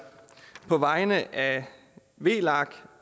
på vegne af v